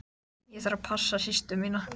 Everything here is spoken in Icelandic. Ég þarf að passa systur mína.